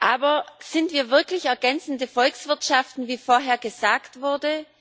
Aber sind wir wirklich ergänzende Volkswirtschaften, wie vorher gesagt wurde?